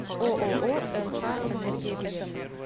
ооо нх энергия билет